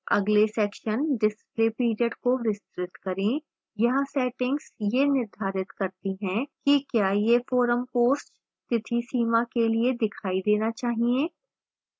अगले section display period को विस्तृत करें